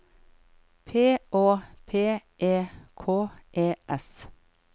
P Å P E K E S